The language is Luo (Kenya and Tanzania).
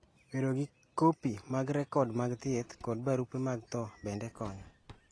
Bedo gi kopi mag rekod mag thieth kod barupe mag tho bende konyo.